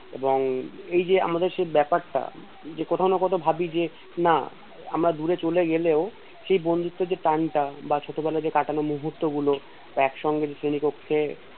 এইযে আমাদের সেই ব্যাপারটা যে কোথাও না কোথাও ভাবী যে না আমরা দূরে চলে গেলেও সেই বন্ধুত্বের যেই টানটা বা ছোটবেলায় যে কাটানো মুহূর্ত গুলো একসঙ্গে শ্রেণী কক্ষে পড়াশোনা করতাম এবং